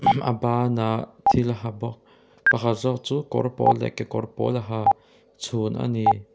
a bânah thil ha bawk pakhat zâwk chu kawr pâwl leh kekawr pâwl a ha chhûn a ni.